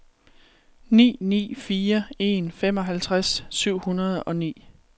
ni ni fire en femoghalvtreds syv hundrede og ni